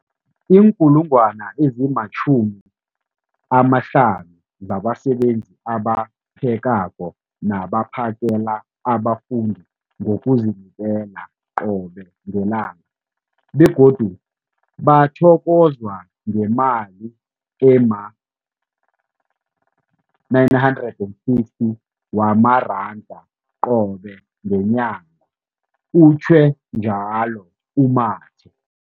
50 000 zabasebenzi abaphekako nabaphakela abafundi ngokuzinikela qobe ngelanga, begodu bathokozwa ngemali ema-960 wamaranda qobe ngenyanga, utjhwe njalo u-Mathe.